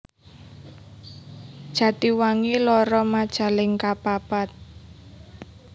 Jatiwangi loro Majalengka papat